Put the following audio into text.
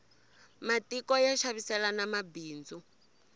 matiko ya xaviselana mabindzu